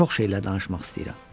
Çox şeylər danışmaq istəyirəm.